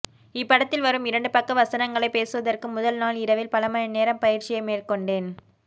இப்படத்தில் வரும் இரண்டு பக்க வசனங்களை பேசுவதற்கு முதல் நாள் இரவில் பல மணி நேரம் பயிற்சியை மேற்கொண்டேன்